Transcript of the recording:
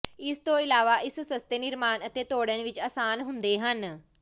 ਇਸ ਤੋਂ ਇਲਾਵਾ ਇਹ ਸਸਤੇ ਨਿਰਮਾਣ ਅਤੇ ਤੋੜਨ ਵਿੱਚ ਆਸਾਨ ਹੁੰਦੇ ਹਨ